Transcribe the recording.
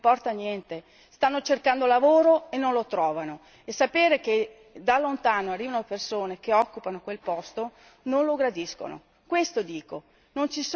Però ai cittadini italiani non importa niente stanno cercando lavoro e non lo trovano e sapere che da lontano arrivano persone che occupano quel posto, non lo gradiscono.